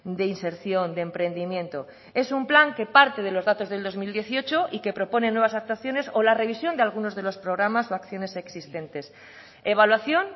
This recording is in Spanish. de inserción de emprendimiento es un plan que parte de los datos del dos mil dieciocho y que propone nuevas actuaciones o la revisión de algunos de los programas o acciones existentes evaluación